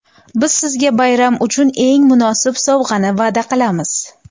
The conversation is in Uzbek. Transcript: Biz sizga bayram uchun eng munosib sovg‘ani va’da qilamiz.